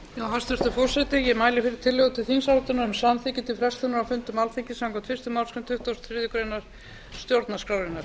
hæstvirtur forseti ég mæli fyrir tillögu til þingsályktunar um samþykki til frestunar á fundum alþingis samkvæmt fyrstu málsgrein tuttugustu og þriðju grein stjórnarskrárinnar